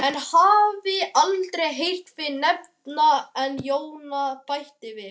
Ég hafði aldrei heyrt þig nefndan en Jóna bætti við